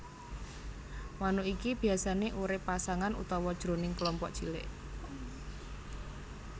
Manuk iki biasané urip pasangan utawa jroning kelompok cilik